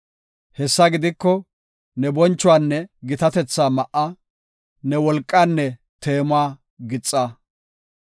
Hessa gidiko, ne bonchuwanne gitatetha ma7a; ne wolqaanne teemuwa gixa.